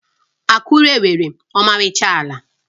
Akure nwere ọmarịcha ala.